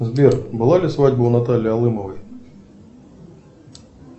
сбер была ли свадьба у натальи алымовой